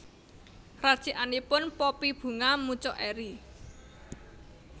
Racikanipun Poppy Bunga mucuk eri